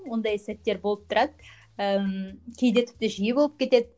ондай сәттер болып тұрады ыыы кейде тіпті жиі болып кетеді